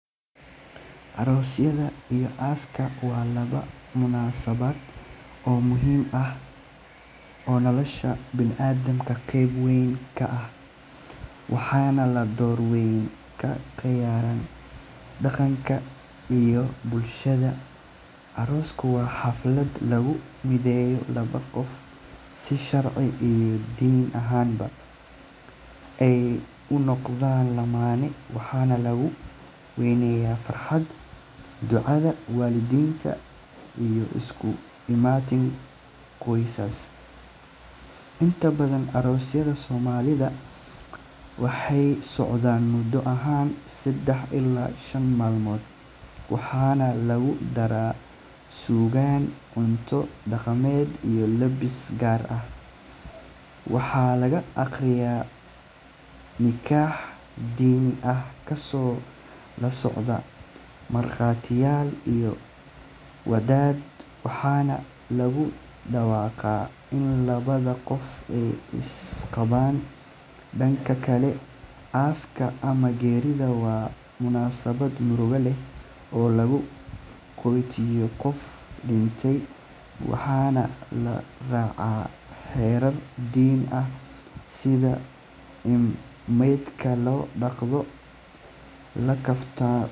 Aroosyada iyo aaska waa laba munaasabad oo muhiim ah oo nolosha bini’aadamka qayb weyn ka ah, waxayna door weyn ka ciyaaraan dhaqanka iyo bulshada. Aroosku waa xaflad lagu mideeyo laba qof si sharci iyo diin ahaanba ay u noqdaan lamaane, waxaana lagu weyneeyaa farxad, ducada waalidiinta, iyo isku imaatin qoysas. Inta badan aroosyada Soomaalida waxay socdaan muddo dhan saddex ilaa shan maalmood, waxaana lagu daraa suugaan, cunto dhaqameed, iyo labis gaar ah. Waxaa la akhriyaa nikah diini ah, kaasoo la socda markhaatiyaal iyo wadaad, waxaana lagu dhawaaqaa in labada qof ay isqabaan. Dhanka kale, aaska ama geerida waa munaasabad murugo leh oo lagu sagootiyo qof dhintay, waxaana la raacaa xeerar diini ah sida in maydka la dhaqdo, la kafaanno.